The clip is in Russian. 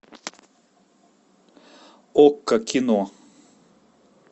окко кино